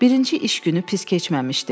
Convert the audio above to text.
Birinci iş günü pis keçməmişdi.